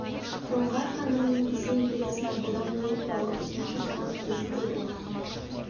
жоңғар хандығының ресей империясына бодан болу туралы ұсыныс жасаған кезі де болған